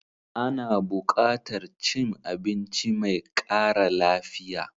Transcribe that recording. Ana buƙatar cin abinci mai ƙara lafiya.